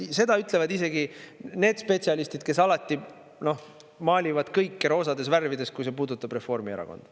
Seda ütlevad isegi need spetsialistid, kes alati maalivad kõike roosades värvides, kui see puudutab Reformierakonda.